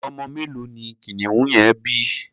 Ọmọ mélòó ni kìnìún yẹn bí?